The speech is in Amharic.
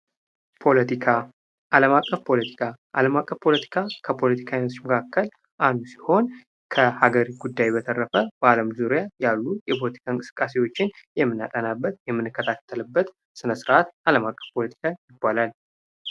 ፖለቲካ አለም አቀፍ ፖለቲካ አለም አቀፍ ፖለቲካ ከፖለቲካ አይነቶች መካከል አንዱ ሲሆን ከሀገር ጉዳይ በተረፈ በአለም ዙሪያ ያሉ የፖለቲካ እንቅስቃሴዎችን የምናጠናበት የምንከታተልበት ስነስረአት ዓለም አቀፍ ፖለቲካ ይባላል።